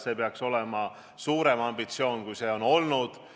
See peaks olema suurem ambitsioon, kui seni on olnud.